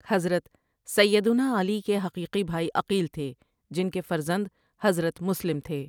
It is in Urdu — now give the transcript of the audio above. حضرت سیّدناعلی کے حقیقی بھائی عقیل تھے جن کےفرزند حضرت مسلم تھے ۔